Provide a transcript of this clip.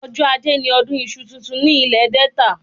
Ọjọ́ ajé ni ọdún iṣu titun ní ilè Delta